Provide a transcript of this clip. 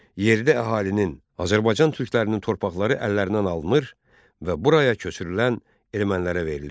Yerli əhalinin, Azərbaycan türklərinin torpaqları əllərindən alınır və buraya köçürülən ermənilərə verilirdi.